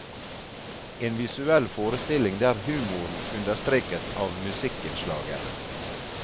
En visuell forestilling der humoren understrekes av musikkinnslagene.